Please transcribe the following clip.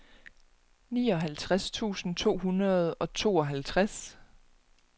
nioghalvtreds tusind to hundrede og tooghalvtreds